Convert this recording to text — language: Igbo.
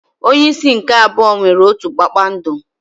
Onye isi nke abụọ nwere otu kpakpando.